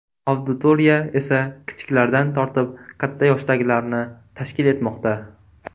Auditoriya esa kichiklardan tortib katta yoshdagilarni tashkil etmoqda.